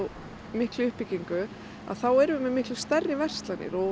miklu uppbyggingu þá erum við með miklu stærri verslanir og